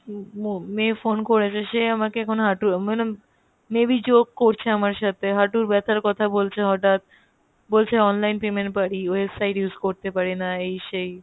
মেয়ে phone করেছে সে আমাকে এখন হাঁটুর আমি ভাবলাম maybe jokes করছে আমার সাথে হাঁটুর ব্যাথার কথা বলছে হটাৎ বলছে online payment পারি website use করতে পারি না এই সেই